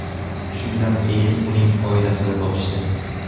Shundan keyin uning oilasini topishdi.